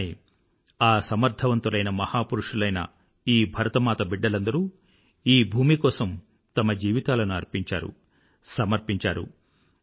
అలానే ఆ సమర్థవంతులైన మహాపురుషులైన ఈ భరతమాత బిడ్డలందరూ ఈ భూమి కోసం తమ జీవితాలను అర్పించారు సమర్పించారు